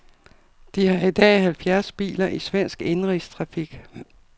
De har i dag halvfjerds biler i svensk indenrigstrafik.